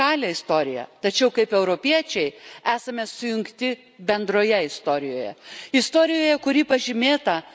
Nors mes visi turime savo unikalią istoriją, tačiau kaip europiečiai esame sujungti bendroje istorijoje.